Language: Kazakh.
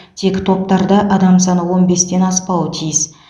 тек топтарда адам саны он бестен аспауы тиіс